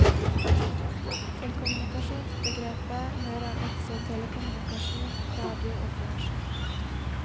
Til kommunikasjonsbegrepet hører også telekommunikasjon, radio og fjernsyn.